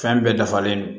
Fɛn bɛɛ dafalen don